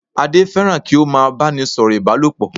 Adé fẹ́ràn kí ó má a báni sọ̀rọ̀ Ìbálòpọ̀